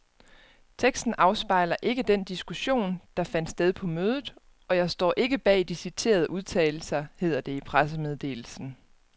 Teksten afspejler ikke den diskussion, der fandt sted på mødet, og jeg står ikke bag de citerede udtalelser, hedder det i pressemeddelelsen.